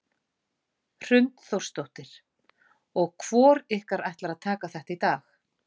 Hrund Þórsdóttir: Og hvor ykkur ætlar að taka þetta í dag?